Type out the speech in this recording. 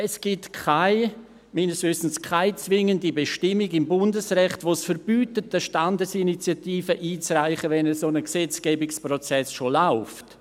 Es gibt aber meines Wissens keine zwingende Bestimmung im Bundesrecht, die es verbietet, eine Standesinitiative einzureichen, wenn ein solcher Gesetzgebungsprozess bereits läuft.